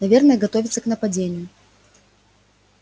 наверное готовится к нападению